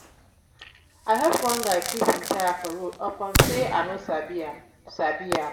i help one guy fix im tyre for road upon sey i no sabi am. sabi am.